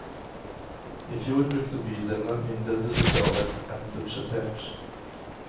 I fjor brukte bydelene mindre til sosialhjelp enn budsjettert.